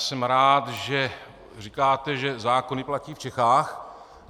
Jsem rád, že říkáte, že zákony platí v Čechách.